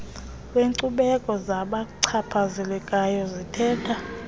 lwenkcubeko zabachaphazelekayo zithetha